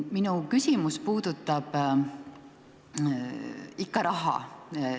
Minu küsimus puudutab raha.